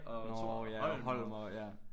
Nåh ja Holm og ja